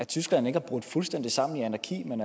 tyskland ikke er brudt fuldstændig sammen i anarki men